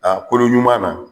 A kolo ɲuman na.